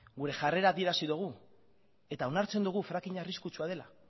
gure jarrera adierazi dogu eta onartzen dugu frackinga arriskutsua dela